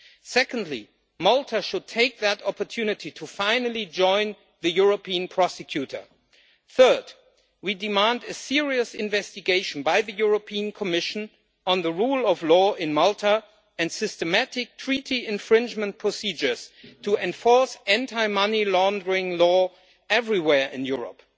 Second, Malta should take that opportunity finally to join the European Prosecutor. Third, we demand a serious investigation by the European Commission on the rule of law in Malta and systematic Treaty infringement procedures to enforce anti money laundering law everywhere in Europe.